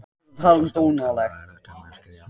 Það er svo stór tala að erfitt er að skilja hana.